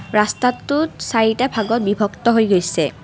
ৰাস্তাটোত চাৰিটা ভাগত বিভক্ত হৈ গৈছে।